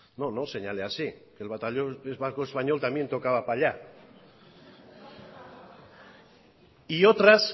no no señale así el batallón vasco español también tocaba para allá y otras